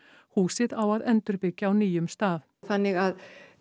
húsið á að endurbyggja á nýjum stað þannig að